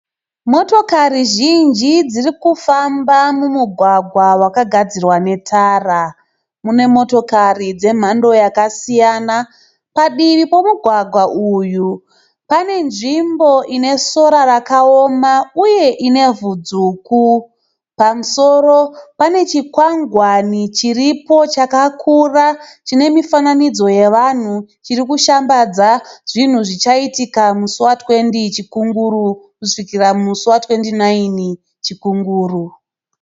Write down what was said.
Motokari zhinji dzirikufamba mumugwagwa wakagadzirwa netara. Mune motokari dze mhando yakasiyana. Padivi pemugwagwa uyu pane nzvimbo ine sora rakaoma. Uye inevhu dzvuku. Pamusoro panechikwangwani chiripo chakakura chine mifananidzo yevanhu chirikushambadza zvinhu zvichaitika musi wa 20-29 Chikunguru.